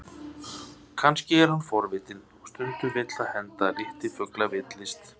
Kannski er hann forvitinn, og stundum vill það henda að litlir fuglar villist.